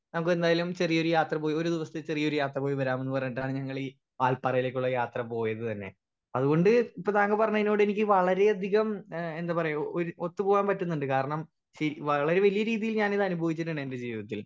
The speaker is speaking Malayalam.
സ്പീക്കർ 1 നമുകെന്തായാലും ചെറിയ ഒരു യാത്ര പോയി ഒരു ദിവസത്തെ ചെറിയ ഒരു യാത്ര പോയി വരാംന്ന് പറഞ്ഞിട്ടാണ് ഞങ്ങളീ വൽപ്പാറയിലേക്കുള്ള യാത്ര പോയത് തന്നെ അത് കൊണ്ട് ഇപ്പൊ താങ്കൾ പറഞ്ഞിയിനോട് എനിക്ക് വളരെ അധികം ഏഹ് എന്താ പറയാ ഒര് ഒത്ത് പോവാൻ പറ്റ്ന്ന്ണ്ട് കാരണം ശ് വളരെ വലിയ രീതിയിൽ ഞാനിത് അനുഭവിച്ചിട്ടുണ്ട് എന്റെ ജീവിതത്തിൽ